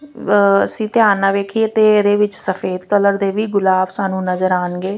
ਅਸੀਂ ਧਿਆਨ ਨਾਲ ਵੇਖੀਏ ਤੇ ਇਹਦੇ ਵਿੱਚ ਸਫੇਦ ਕਲਰ ਦੇ ਵੀ ਗੁਲਾਬ ਸਾਨੂੰ ਨਜ਼ਰ ਆਉਣਗੇ।